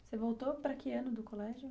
Você voltou para que ano do colégio?